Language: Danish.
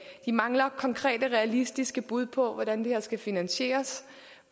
mangler konkrete realistiske bud på hvordan det her skal finansieres